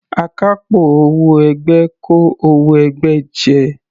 Akápò owó ẹgbẹ́ kó owó ẹgbẹ́ jẹ.